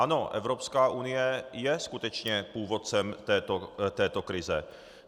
Ano, Evropská unie je skutečně původcem této krize.